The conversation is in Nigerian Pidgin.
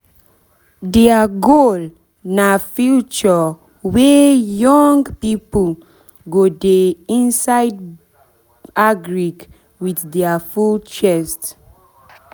deir goal na future were young pipo go de insidebagric with deir full chest